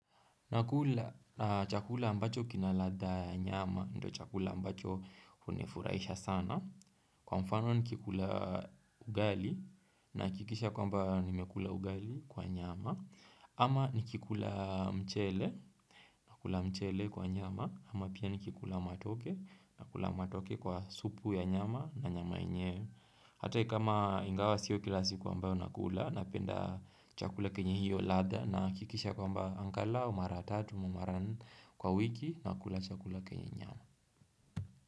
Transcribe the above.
Nakula chakula ambacho kina ladha ya nyama ndiyo chakula ambacho hunifurahisha sana. Kwa mfano nikikula ugali nahakikisha kwamba nimekula ugali kwa nyama. Ama nikikula mchele nakula mchele kwa nyama. Ama pia nikikula matoke nakula matoke kwa supu ya nyama na nyama yenyewe. Hata kama ingawa siyo kila siku ambayo nakula napenda chakula chenye hiyo ladha nahakikisha kwamba angalau mara tatu ama mara nne kwa wiki nakula chakula chenye nyama.